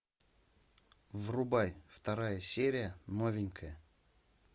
врубай вторая серия новенькая